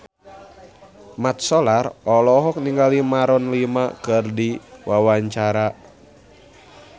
Mat Solar olohok ningali Maroon 5 keur diwawancara